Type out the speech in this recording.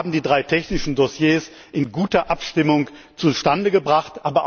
Sie haben die drei technischen Dossiers in guter Abstimmung zustande gebracht.